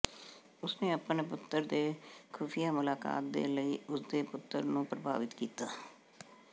ਉਸ ਨੇ ਆਪਣੇ ਪੁੱਤਰ ਦੇ ਖੁਫੀਆ ਮੁਲਾਕਾਤ ਦੇ ਲਈ ਉਸ ਦੇ ਪੁੱਤਰ ਨੂੰ ਪ੍ਰਭਾਵਿਤ ਕੀਤਾ